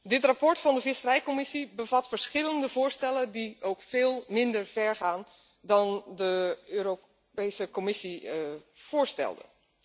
Dit verslag van de visserijcommissie bevat verschillende voorstellen die veel minder ver gaan dan de Europese Commissie voorstelde.